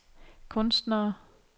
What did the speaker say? kunstnere